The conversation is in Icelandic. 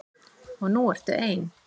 Og nú ertu ein.